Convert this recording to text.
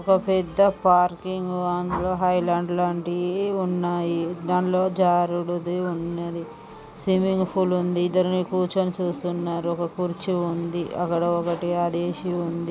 ఒక పెద్ద parking highland లాంటి ఉన్నాయి దాన్లో జారుడుది ఉన్నది సిమ్మింగ్ ఫూల్ ఉంది ఇద్దర్ని కూర్చొని చూస్తున్నారు ఒక కుర్చి ఉంది అక్కడ ఒకటి ఉం--